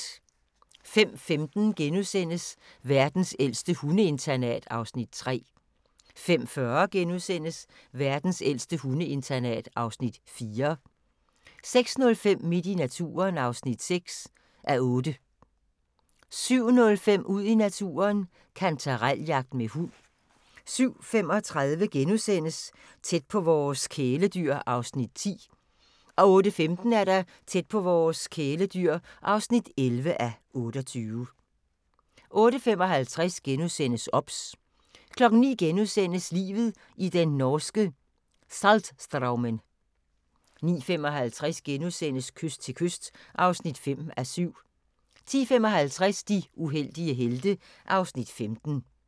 05:15: Verdens ældste hundeinternat (Afs. 3)* 05:40: Verdens ældste hundeinternat (Afs. 4)* 06:05: Midt i naturen (6:8) 07:05: Ud i naturen: Kantarel-jagt med hund 07:35: Tæt på vores kæledyr (10:28)* 08:15: Tæt på vores kæledyr (11:28) 08:55: OBS * 09:00: Livet i den norske Saltstraumen * 09:55: Kyst til kyst (5:7)* 10:55: De uheldige helte (Afs. 15)